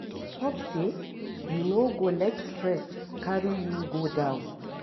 Hope say you no go let stress carry you go down.